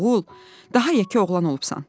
"Oğul, daha yekə oğlan olubsan.